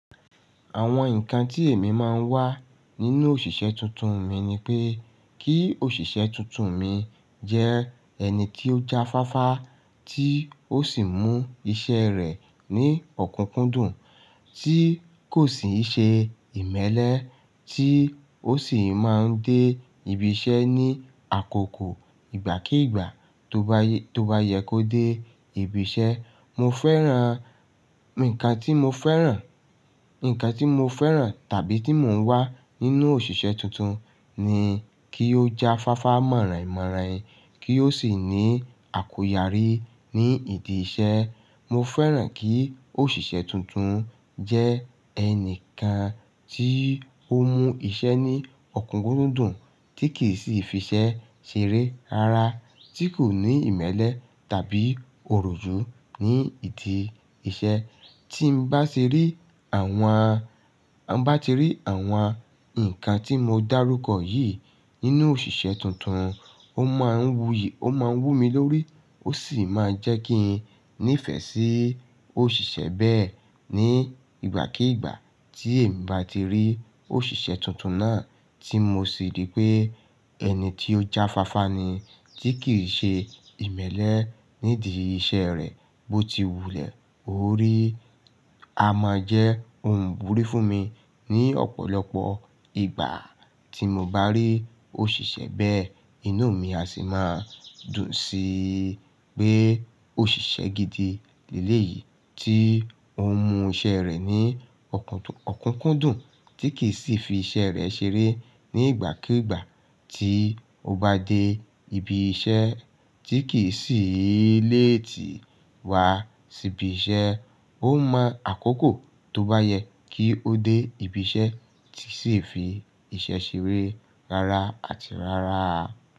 Àwọn nǹkan tí èmi máa ń wá nínú òṣìṣẹ́ tuntun mi ni pé kí òṣìṣẹ́ tuntun mi jẹ ẹni tí ó jáfáfá, tí ó sì mú iṣẹ́ rẹ̀ ní ọ̀kúkúndùn, tí kò sì n ṣe ìmẹ́lẹ́, tí ó sì máa ń dé ibi iṣẹ́ ní àkókò ìgbàkígbà tó bá yẹ kó dé ibi iṣẹ́. Mo fẹ́ràn, nǹkan tí mo fẹ́ràn, nǹkan tí mo fẹ́ràn tàbí tí mò ń wá nínú òṣìṣẹ́ tuntun ni kí ó jáfáfá mọ̀rànyin mọ̀rànyin, kí ó sì ní àkóyarí ní ìdí iṣẹ́. Mo fẹ́ràn kí òṣìṣẹ́ tuntun jẹ́ ẹnìkan tí ó mú iṣẹ́ ní ọ̀kúkúndùn, tí kì í sì fi iṣẹ́ ṣeré rara, tí kò ní ìmẹ́lẹ́ tàbí òròjú ní ìdí iṣẹ́. Tí n bá ti rí àwọn, bá ti rí àwọn nǹkan tí mo dárúkọ yìí nínú òṣìṣẹ́ tuntun, ó máa wú mi lórí, ó sì máa jẹ́ kí n nífẹ̀ẹ́ sí òṣìṣẹ́ bẹ́ẹ̀. Ní ìgbàkígbà tí èmi bá ti rí òṣìṣẹ́ tuntun náà tí mo sì rí pé ẹni tí ó jáfáfá ni, tí kì í ṣe ìmẹ́lẹ́ nídii iṣẹ́ rẹ̀ bó ti wulẹ̀, ò ó rí amọ̀ jẹ́, òún burí fún mi. Ni ọ̀pọ̀lọpọ̀ ìgbà tí mo bá rí òṣìṣẹ́ bẹ́ẹ̀, inú mi á sì máa dùn sí pé òṣìṣẹ́ gidi leleyìí tí ó mú iṣẹ́ rẹ̀ ní ọ̀kúkúndùn, tí kì í sì fi iṣẹ́ rẹ̀ ṣeré ní ìgbàkígbà tí ó bá dé ibi iṣẹ́, tí kì í sì léètí wá sí ibi iṣẹ́. Ó mọ̀ àkókò tó bá yẹ kí ó dé ibi iṣẹ́, ti kii sì fi iṣẹ́ ṣeré rara àti rara.